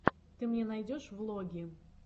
ты мне найдешь влоги